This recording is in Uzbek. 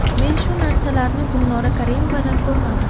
Men shu narsalarni Gulnora Karimovada ko‘rmadim.